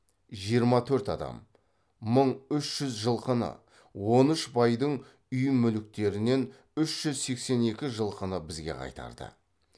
жиырма төрт адам мың үш жүз жылқыны он үш байдың үй мүліктерінен үш жүз сексен екі жылқыны бізге қайтарды